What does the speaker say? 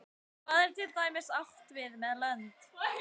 hvað er til dæmis átt við með lönd